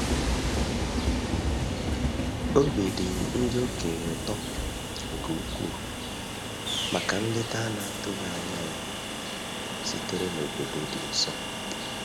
Obi dị ndị okenye ụtọ nke ukwuu maka nleta a na-atụghị anya ya sitere n’obodo dị nso.